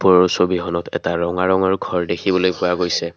ওপৰৰ ছবিখনত এটা ৰঙা ৰঙৰ ঘৰ দেখিবলৈ পোৱা গৈছে।